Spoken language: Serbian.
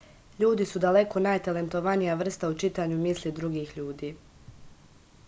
ljudi su daleko najtalentovanija vrsta u čitanju misli drugih ljudi